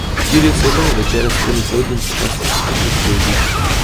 Štiri osebe, večerja s tremi hodi in fantastičen pogled v dolino.